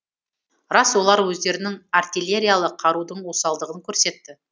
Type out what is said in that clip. рас олар өздерінің артиллериялық қарудың осалдығын көрсетті